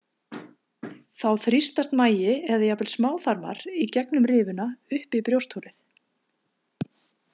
Þá þrýstast magi eða jafnvel smáþarmar í gegnum rifuna upp í brjóstholið.